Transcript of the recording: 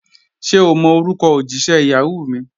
Ṣẹ̀ o mọ̀ orúkọ̀ ojísẹ̀ Yahoo mi?